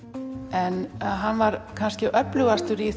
en hann var kannski öflugastur í